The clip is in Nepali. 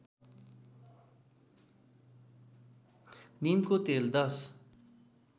नीमको तेल १०